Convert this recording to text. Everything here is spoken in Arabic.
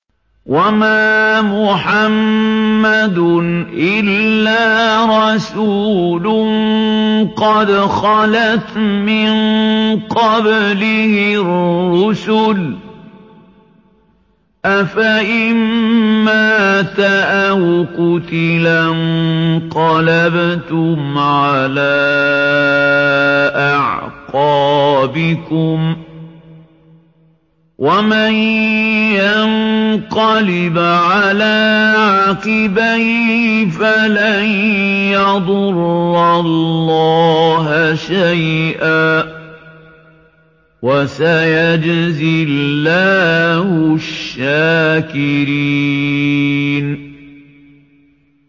وَمَا مُحَمَّدٌ إِلَّا رَسُولٌ قَدْ خَلَتْ مِن قَبْلِهِ الرُّسُلُ ۚ أَفَإِن مَّاتَ أَوْ قُتِلَ انقَلَبْتُمْ عَلَىٰ أَعْقَابِكُمْ ۚ وَمَن يَنقَلِبْ عَلَىٰ عَقِبَيْهِ فَلَن يَضُرَّ اللَّهَ شَيْئًا ۗ وَسَيَجْزِي اللَّهُ الشَّاكِرِينَ